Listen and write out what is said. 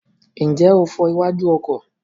Ǹjẹ́ o fọ iwájú ọkọ̀?